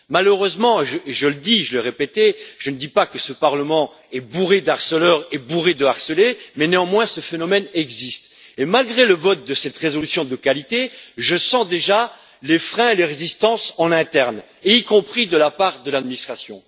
Malheureusement, je le dis et je vais répéter, je ne dis pas que ce Parlement est bourré de harceleurs et bourré de harcelés, mais néanmoins ce phénomène existe et, malgré le vote de cette résolution de qualité, je sens déjà les freins et les résistances en interne, y compris de la part de l'administration.